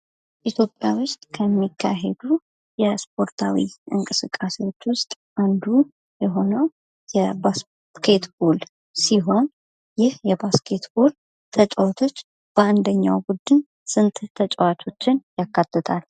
ኢትዮጵያ ውስጥ ከሚካሄዱ የስፖርታዊ እንቅስቃሴዎች ውስጥ አንዱ የሆነው የ " ባስኬት ቦል " ሲሆን ይህ የ " ባስኬት ቦል " ተጫዋቾች በአንደኛው ቡድን ስንት ተጫዋቾችን ያካትታል ?